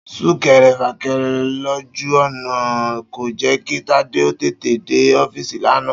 Súnke̩re̩-fàke̩re̩ lójú ò̩nà kò jé̩ kí Tádé ó tètè dé ó̩fíìsì lánàá